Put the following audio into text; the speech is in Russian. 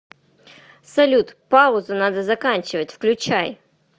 салют паузу надо заканчивать включай